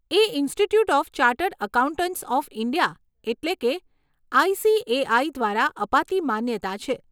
A Institute of Chartered Accountants of India એટલે કે ICAI દ્વારા અપાતી માન્યતા છે.